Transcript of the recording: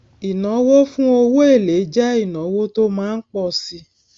ìnáwó fún owó èlé jẹ ìnáwó tó má ń pọ síi